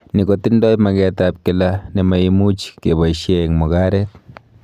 Ni kotindo magetab kila ne maimuch keboishee eng mugaret